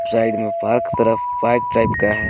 Side में park तरफ type का है।